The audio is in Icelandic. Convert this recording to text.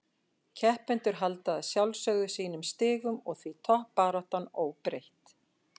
Keppendur halda að sjálfsögðu sínum stigum og því toppbaráttan óbreytt.